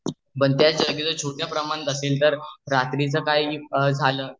पण त्याच एव्जीजार छोट्या प्रमाणात रात्री च काही झाल